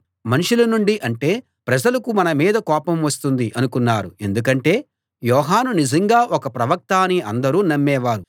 మనుషుల నుండి అంటే ప్రజలకు మన మీద కోపం వస్తుంది అనుకున్నారు ఎందుకంటే యోహాను నిజంగా ఒక ప్రవక్త అని అందరూ నమ్మేవారు